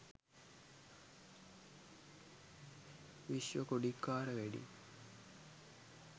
vishwa kodikara wedding